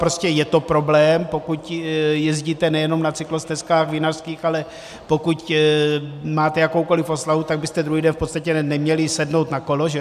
Prostě je to problém, pokud jezdíte nejenom na cyklostezkách vinařských, ale pokud máte jakoukoliv oslavu, tak byste druhý den v podstatě neměli sednout na kolo, že?